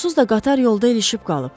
Onsuz da qatar yolda ilişib qalıb.